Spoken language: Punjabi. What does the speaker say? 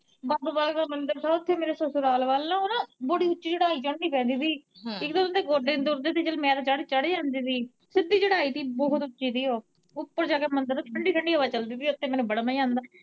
ਬਾਬਾ ਬਾਲਕ ਨਾਥ ਦਾ ਮੰਦਿਰ ਥਾ ਓੱਥੇ ਮੇਰੇ ਸਸੁਰਾਲ ਵੱਲ ਨਾ ਓਹ ਨਾ ਬੜੀ ਓੱਚੀ ਚੜਾਈ ਚੜਨੀ ਪੈਂਦੀ ਥੀ ਇੱਕ ਤਾਂ ਓਨਾਂ ਦੇ ਗੋਡੇ ਨੀ ਤੁਰਦੇ ਸੀ ਚੱਲ ਮੈਂ ਤਾਂ ਚੜ, ਚੜ ਜਾਂਦੀ ਸੀ, ਸਿੱਧੀ ਚੜਾਈ ਥੀ, ਬਹੁਤ ਓੱਚੀ ਸੀ ਉਹੋ, ਓੱਪਰ ਜਾ ਕੇ ਮੰਦਿਰ, ਠੰਢੀ- ਠੰਢੀ ਹਵਾ ਚੱਲਦੀ ਸੀ ਓੱਥੇ, ਮਿਨੂੰ ਬੜਾ ਮਜਾ ਆਓਂਦਾ।